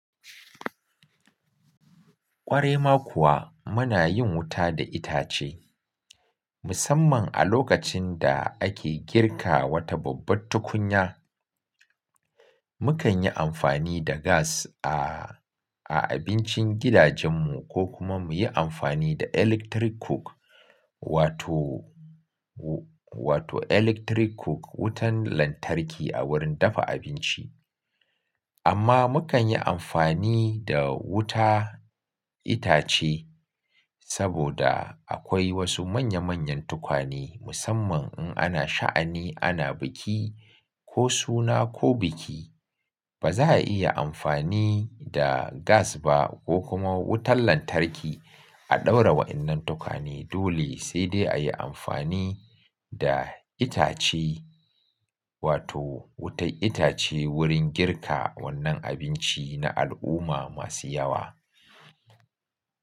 Ƙwarai ma kuwa muna yin wuta da itace. Musamman a lokacin da ake girka wata babbar tukunya. Mukan yi amfani da gas a, a abincin gidajen mu ko kuma muyi amfani da electric cook wato, wato electric cook, wutan lantarki a wurin dafa abinci. Amma mukan yi amfani da wuta itace saboda akwai wasu manya manyan tukwane musamman in ana sha'ani, ana biki ko suna ko biki. Ba za'a iya amfani da gas ba ko kuma wutan lantarki a ɗaura wa'innan tukwane dole sai dai a yi amfani da itace wato wutar itace wurin girka wannan abinci na al'umma masu yawa.